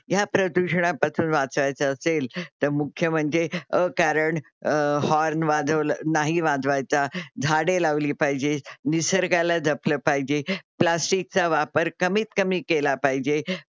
ह्या प्रदुषणापासून वाचायचं असेल त मुख्य म्हणजे अ कारण होर्न वाजल नाही वाजवायचा, झाडे लावली पाहिजे, निसर्गाला जपलं, प्लॅस्टिकचा वापर कमीतकमी केला पाहिजे.